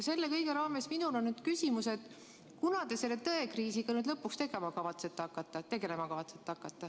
Selle kõige raames on mul küsimus, kunas te selle tõekriisiga nüüd lõpuks tegelema kavatsete hakata.